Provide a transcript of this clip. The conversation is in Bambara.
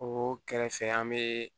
O kɛrɛfɛ an bɛ